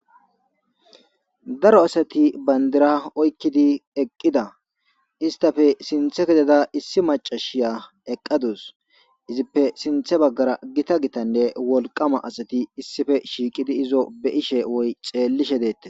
Daro asat bandira oykid eqida, istappe sinthe kezada issi macasiya eqadus . Izippe sinthe bagara gita gitanne wolqama asat issipe shiqid izo beyishe woy xelishe detes .